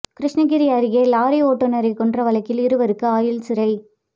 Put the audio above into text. கிருஷ்ணகிரி அருகே லாரி ஓட்டுநரை கொன்ற வழக்கில் இருவருக்கு ஆயுள் சிறை